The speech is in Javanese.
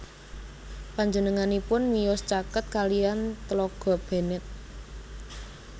Panjenenganipun miyos caket kaliyan Tlaga Bennett